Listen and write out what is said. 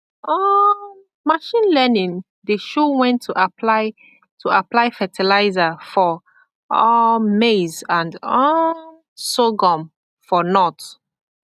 um machine learning dey show when to apply to apply fertilizer for um maize and um sorghum for north